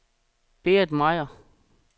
Berit Meier